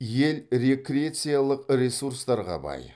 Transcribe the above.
ел рекреациялық ресурстарға бай